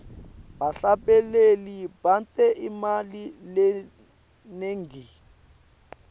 bahlabeleli benta imali lenengi